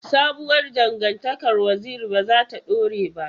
Sabuwar dangantakar Waziri ba za ta dore ba.